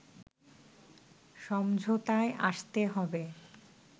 সমঝোতায় আসতে হবে